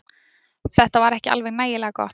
Þetta var ekki alveg nægilega gott